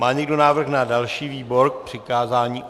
Má někdo návrh na další výbor k přikázání?